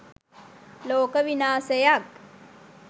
ලෝක විනාසයක්.